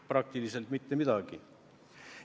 Praktiliselt mitte midagi.